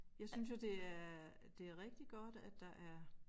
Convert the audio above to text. Jeg synes jo det er det rigtig godt at der er